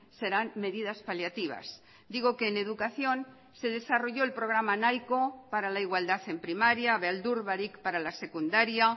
serán medidas paliativas digo que en educación se desarrolló el programa nahiko para la igualdad en primaria beldur barik para la secundaria